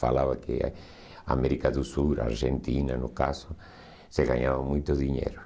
Falava que na América do Sul, na Argentina, no caso, você ganhava muito dinheiro.